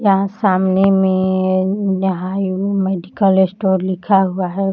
यहाँ सामने में यहाँ एक मेडिकल स्टोर लिखा हुआ है।